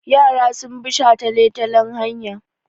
Yara sun bi shataletalen hanya.